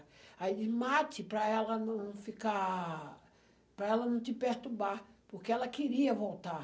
Aí eu disse, mate para ela não ficar, para ela não te perturbar, porque ela queria voltar.